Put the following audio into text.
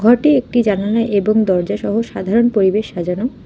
এটি একটি জানালা এবং দরজা সহ সাধারণ পরিবেশ সাজানো।